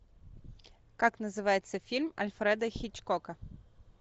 как называется фильм альфреда хичкока